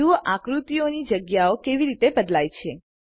જુઓ આકૃતિઓની જગ્યાઓ કેવી બદલાય છે